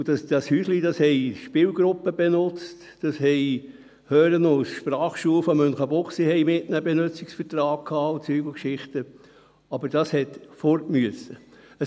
Dieses Häuschen wurde von Spielgruppen benutzt, das Pädagogische Zentrum für Hören und Sprache Münchenbuchsee (HSM) hatte einen Benutzungsvertrag mit ihnen und so weiter, aber es musste weg.